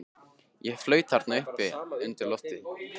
Ég flaut þarna uppi undir lofti.